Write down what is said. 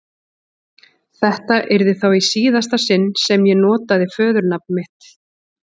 Þetta yrði þá í síðasta sinn sem ég notaði föðurnafn mitt.